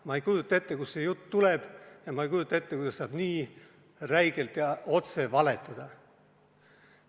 Ma ei kujuta ette, kust see jutt tuleb, ja ma ei kujuta ette, kuidas saab nii räigelt ja otse valetada.